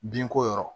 Binko yɔrɔ